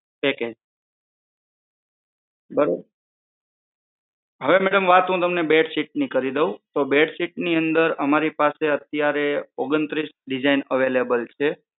છે કે બરોબર. હવે madam વાત હું તમને બેડશીટની કરી દવ તો બેડશીટ ની અંદર અમારી પાસે અત્યારે ઓગણત્રીસ design available છે.